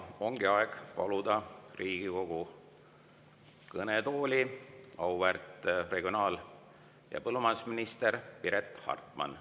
Ongi aeg paluda Riigikogu kõnetooli auväärt regionaal‑ ja põllumajandusminister Piret Hartman.